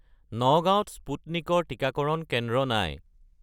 নগাঁৱ ত স্পুটনিক ৰ টিকাকৰণ কেন্দ্ৰ নাই